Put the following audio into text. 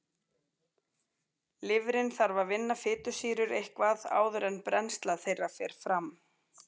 Lifrin þarf að vinna fitusýrur eitthvað áður en brennsla þeirra fer fram.